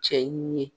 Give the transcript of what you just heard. Cɛ ye n ye